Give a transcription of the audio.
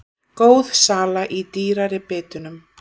Góð sala í dýrari bitunum